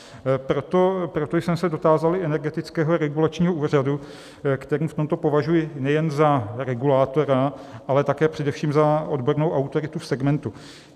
Proto jsem se dotázal i Energetického regulačního úřadu, který v tomto považuji nejen za regulátora, ale také především za odbornou autoritu v segmentu.